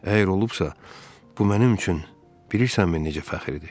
Əgər olubsa, bu mənim üçün bilirsənmi necə fəxridir?